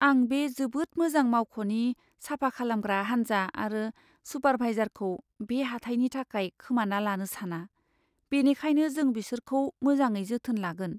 आं बे जोबोद मोजां मावख'नि साफा खालामग्रा हान्जा आरो सुपारभाइजारखौ बे हाथाइनि थाखाय खोमाना लानो साना। बेनिखायनो जों बिसोरखौ मोजाङै जोथोन लागोन।